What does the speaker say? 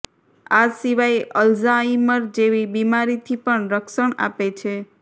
આ સિવાય અલ્ઝાઈમર જેવી બીમારીથી પણ રક્ષણ આપે છે